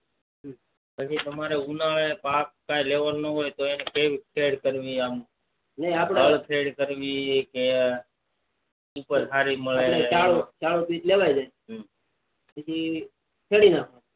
પછી તમારે ઉલારે પાક કઈ લેવાનું હોય તો એને ખેર ખેર કરવી આમ હળ ખેર કરવી કે ઉપજ સારી મળે લેવાઈ જાય પછી ખેડી નાખવું